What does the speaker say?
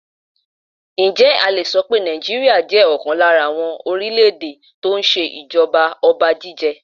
Ǹjẹ́ a le so pé Nàìjíríà jẹ́ ọ̀kan lára àwọn orílè èdè tó ń ṣe ìjọba ọba jíjẹ?